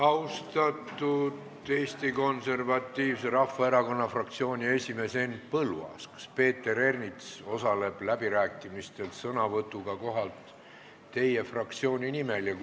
Austatud Eesti Konservatiivse Rahvaerakonna fraktsiooni esimees Henn Põlluaas, kas Peeter Ernits osaleb läbirääkimistel sõnavõtuga kohalt teie fraktsiooni nimel?